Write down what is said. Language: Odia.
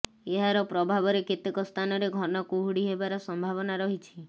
ଏହାର ପ୍ରଭାବରେ କେତେକ ସ୍ଥାନରେ ଘନ କୁହୁଡି ହେବାର ସମ୍ଭାବନା ରହିଛି